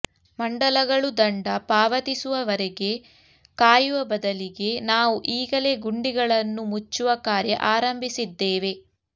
ಮಂಡಲಗಳು ದಂಡ ಪಾವತಿಸುವ ವರೆಗೆ ಕಾಯುವ ಬದಲಿಗೆ ನಾವು ಈಗಲೇ ಗುಂಡಿಗಳನ್ನು ಮುಚ್ಚುವ ಕಾರ್ಯ ಆರಂಭಿಸಿದ್ದೇವೆ